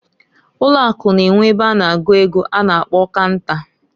Ụlọ Akụ N'enwe ebe a na-agụ ego a na-akpo canta.